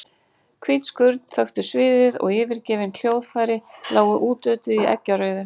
Hvít skurn þöktu sviðið og yfirgefin hljóðfæri lágu útötuð í eggjarauðu.